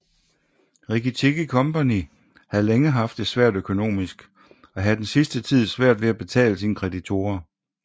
Rikki Tikki Company havde længe haft det svært økonomisk og havde den sidste tid svært ved at betale sine kreditorer